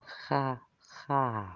ха ха